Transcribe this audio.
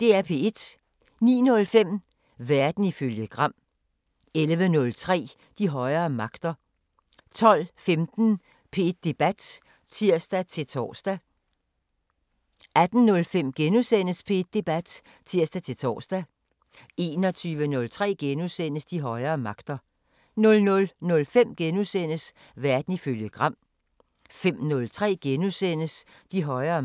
09:05: Verden ifølge Gram 11:03: De højere magter 12:15: P1 Debat (tir-tor) 18:05: P1 Debat *(tir-tor) 21:03: De højere magter * 00:05: Verden ifølge Gram * 05:03: De højere magter *